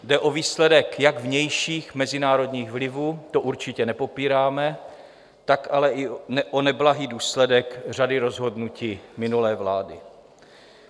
Jde o výsledek jak vnějších mezinárodních vlivů, to určitě nepopíráme, tak ale i o neblahý důsledek řady rozhodnutí minulé vlády.